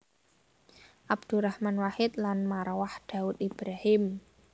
Abdurrahman Wahid lan Marwah Daud Ibrahim